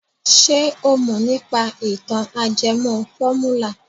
Ṣé o mọ̀ nípa ìtàn ajẹmọ fọ́múlà?